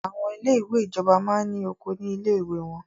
Àwọn ilé ìwé ìjọba máa ní oko ní ilé ìwé wọ́n.